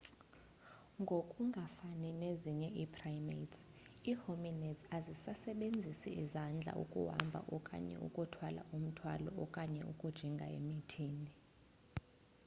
ngoku ngafani nezinye ii-primates ii-hominids azisasebenzisi izandla ukuhamba okanye ukuthwala umthwalo okanye ukujinga emithini